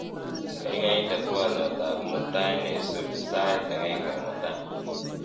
gaigai inde twolyot ab mutai neisubi sait agenge mutai